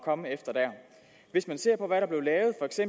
komme efter dér hvis man ser på hvad der blev lavet